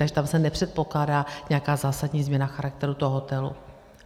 Takže tam se nepředpokládá nějaká zásadní změna charakteru toho hotelu.